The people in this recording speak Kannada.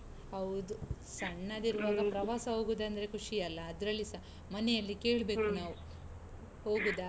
ಹೌದು, ಸಣ್ಣದಿರುವಾಗ. ಪ್ರವಾಸ ಹೋಗುದಂದ್ರೆ ಖುಷಿಯಲ್ಲಾ ಅದ್ರಲ್ಲಿಸಾ ಮನೆಯಲ್ಲಿ ಕೇಳ್ಬೇಕು. ನಾವು ಹೋಗುದ?